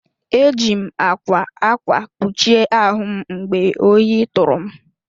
Eji m ákwá ákwà kpuchie ahụ m mgbe ohi tụrụ m.